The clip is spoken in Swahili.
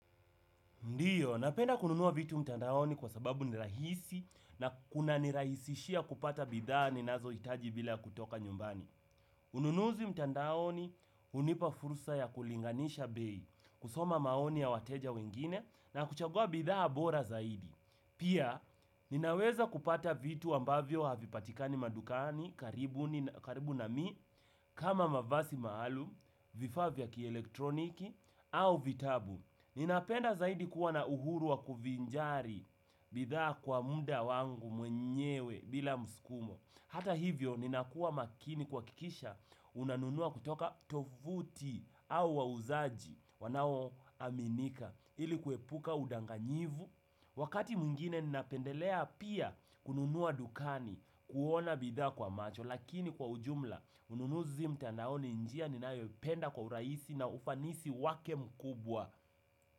Ndiyo, napenda kununua vitu mtandaoni kwa sababu ni rahisi na kunanirahisishia kupata bidhaa ninazohitaji bila kutoka nyumbani. Ununuzi mtandaoni hunipa fursa ya kulinganisha bei, kusoma maoni ya wateja wengine na kuchagua bidhaa bora zaidi. Pia, ninaweza kupata vitu ambavyo havipatikani madukani karibu na mimi kama mavazi maalum, vifaa vya kielektroniki au vitabu. Ninapenda zaidi kuwa na uhuru wa kuvinjari bidhaa kwa muda wangu mwenyewe bila mskumo. Hata hivyo, ninakuwa makini kuhakikisha unanunua kutoka tovuti au wauzaji wanaominika ili kuepuka udanganyifu. Wakati mwingine ninapendelea pia kununua dukani kuona bidhaa kwa macho. Lakini kwa ujumla, ununuzi mtandaoni ni njia ninayoipenda kwa urahisi na ufanisi wake mkubwa.